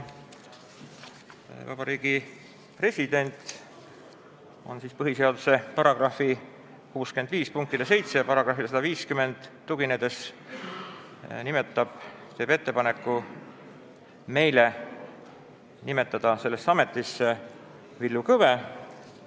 Vabariigi President teeb meile põhiseaduse § 65 punktile 7 ja §-le 150 tuginedes ettepaneku nimetada sellesse ametisse Villu Kõve.